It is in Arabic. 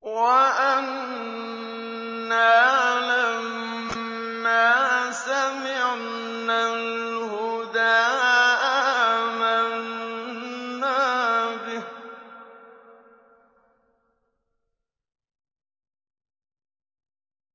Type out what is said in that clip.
وَأَنَّا لَمَّا سَمِعْنَا الْهُدَىٰ آمَنَّا بِهِ ۖ